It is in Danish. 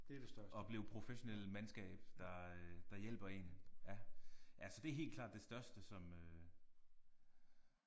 Opleve professionelle mandskab der der hjælper én. Ja ja så det er helt klart det største som øh